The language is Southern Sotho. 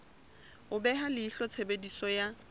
ho beha leihlo tshebediso ya